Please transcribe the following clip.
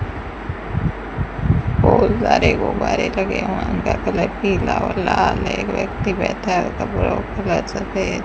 बहोत सारे गुब्बारे लगे हुए उनका कलर पीला और लाल है एक व्यक्ति बैठा कपड़ों का कलर सफ़ेद --